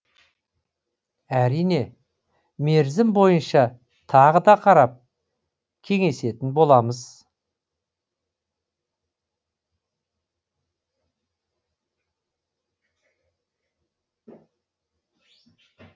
әрине мерзім бойынша тағы да қарап кеңесетін боламыз